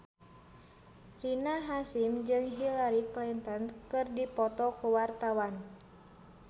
Rina Hasyim jeung Hillary Clinton keur dipoto ku wartawan